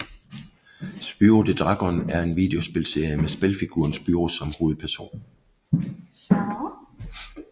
Spyro the Dragon er en videospilserie med spilfiguren Spyro som hovedperson